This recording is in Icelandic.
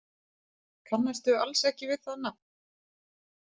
Kannastu alls ekki við það nafn?